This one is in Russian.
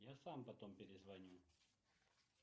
я сам потом перезвоню